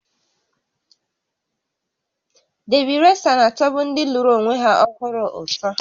Debi resa na-atọbu ndị lụrụ onwe ha ọhụrụ ụtọ